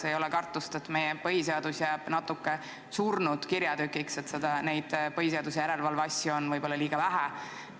Kas ei ole kartust, et meie põhiseadus jääb natuke surnud kirjatükiks või et neid põhiseaduse järelevalve asju on võib-olla liiga vähe?